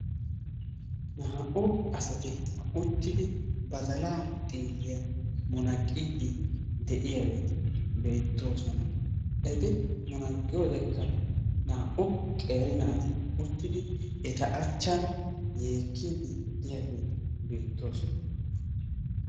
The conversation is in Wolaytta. Naa'u asati uttidi badalaa xiilliya munaqiidi de'iyaageti beetoosona. Eti munaqqiyodekka naa'u qeeri naati uttidi eta achan yeekkidi diyageeti beetoosona.